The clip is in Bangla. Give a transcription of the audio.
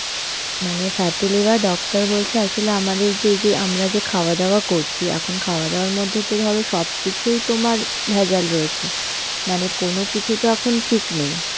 মানে fatty liver, doctor বলছে আসলে আমাদের যে যেই আমরা যে খাওয়া দাওয়া করছি এখন খাওয়া দাওয়ার মধ্যে তো ধরো সব কিছুই তোমার ভেজাল রয়েছে. মানে কোন কিছু তো এখন ঠিক নেই.